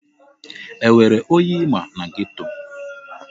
Enwere onye ịma na geto?